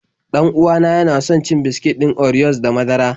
Dan uwa na yana son cin biskit ɗin oriyos da madara.